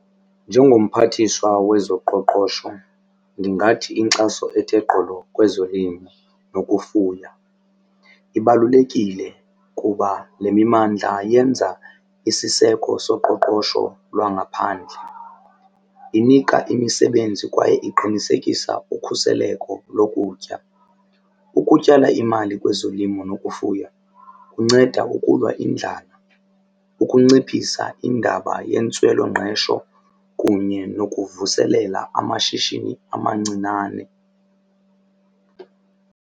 Njengomphathiswa wezoqoqosho ndingathi inkxaso ethe gqolo kwezolimo nokufuya ibalulekile kuba le mimandla yenza isiseko soqoqosho lwangaphandle. Inika imisebenzi kwaye iqinisekisa ukhuseleko lokutya. Ukutyala imali kwezolimo nokufuya kunceda ukulwa indlala, ukunciphisa indaba yentswelongqesho kunye nokuvuselela amashishini amancinane.